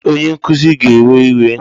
Ee! Onye nkuzi ga-ewe iwe.